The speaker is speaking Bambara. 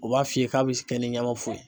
U b'a f'i ye k'a bɛ kɛ ni ɲamafu